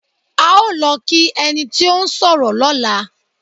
À ó lọ kí ẹni tí ó ń sọ̀rọ̀ lọ́la.